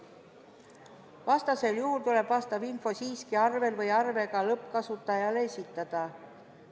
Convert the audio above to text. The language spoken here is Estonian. Vastasel juhul tuleb vastav info siiski arvel või koos arvega lõppkasutajale esitada.